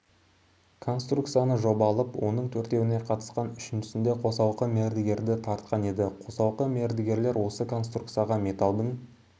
конструкцияны жобалып оның төртеуіне қатысқан үшіншісінде қосалқы мердігерді тартқан еді қосалқы мердігерлер осы конструкцияға металдың